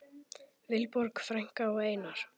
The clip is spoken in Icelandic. Vilborg frænka og Einar.